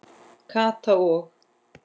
Kata og